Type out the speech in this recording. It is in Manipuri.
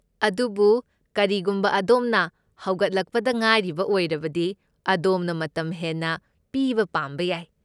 ꯑꯗꯨꯕꯨ ꯀꯔꯤꯒꯨꯝꯕ ꯑꯗꯣꯝꯅ ꯍꯧꯒꯠꯂꯛꯄꯗ ꯉꯥꯏꯔꯤꯕ ꯑꯣꯏꯔꯕꯗꯤ, ꯑꯗꯣꯝꯅ ꯃꯇꯝ ꯍꯦꯟꯅ ꯄꯤꯕ ꯄꯥꯝꯕ ꯌꯥꯏ꯫